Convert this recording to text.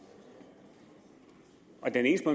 og den eneste